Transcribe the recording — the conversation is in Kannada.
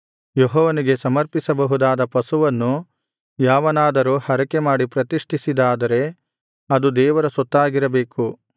ಯೆಹೋವನಿಗೆ ಸಮರ್ಪಿಸಬಹುದಾದ ಪಶುವನ್ನು ಯಾವನಾದರೂ ಹರಕೆಮಾಡಿ ಪ್ರತಿಷ್ಠಿಸಿದ್ದಾದರೆ ಅದು ದೇವರ ಸೊತ್ತಾಗಿರಬೇಕು